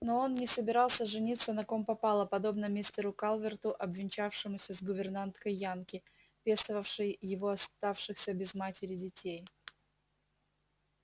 но он не собирался жениться на ком попало подобно мистеру калверту обвенчавшемуся с гувернанткой-янки пестовавшей его оставшихся без матери детей